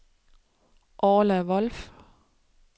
Orla Wolff